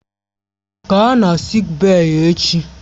Gaa na sịịk bèyí echi!